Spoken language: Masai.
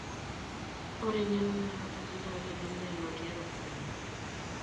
Ore eng'eno nanotoki naa keidimi aanotie iropiyiani.